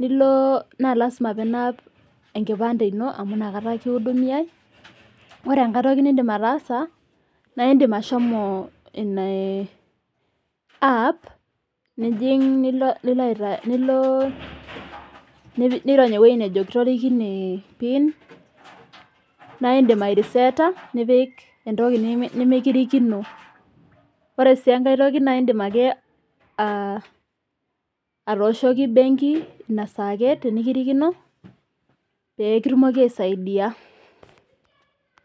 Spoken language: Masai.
nilo naa lasima pinaam enkipande ino amu inakata kiidumiyai, ore toki niindim ataasa naa indim ashomo ina aaap nijing nilo, nilo nirony ewueji nejo kitorikine impiin, naa indim airiseeta nipik impiin nemikirikino. Ore sii enkae toki naa indim ake atooshoki imbenki inasaa ake tenikirikino peekitumoki aisaidiya.